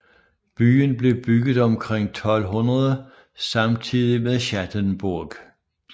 Byen blev bygget omkring 1200 samtidigt med Schattenburg